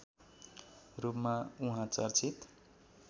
रूपमा उहाँ चर्चित